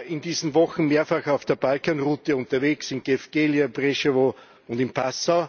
Ich war in diesen Wochen mehrfach auf der Balkanroute unterwegs, in Gevgelija, Preševo und in Passau.